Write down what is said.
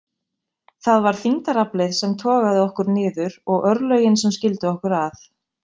Það var þyngdaraflið sem togaði okkur niður og örlögin sem skildu okkur að.